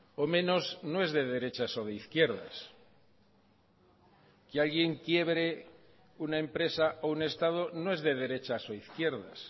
o menos no es de derechas o de izquierdas que alguien quiebre una empresa o un estado no es de derechas o izquierdas